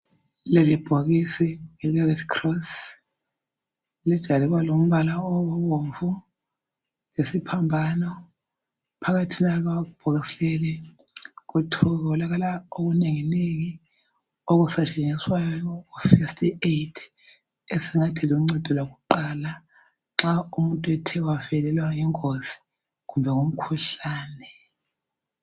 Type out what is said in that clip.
Lelibhokisi ele-RedCross, lijayele ukuba lombala obomvu, lesiphambano. Phakathina kwebhokisi leli kutholakala okunenginengi okusetshenziswayo ku-first aid, esingathi luncedo lwakuqala, nxa umuntu ethe wavelelwa yingozi, kumbe ngumkhuhlane.